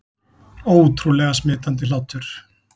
Ótrúlega smitandi hlátur